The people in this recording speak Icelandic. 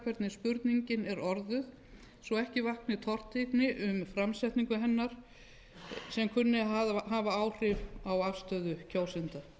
spurningin er orðuð svo ekki vakni tortryggni um að framsetning hennar kunni að hafa áhrif á afstöðu kjósenda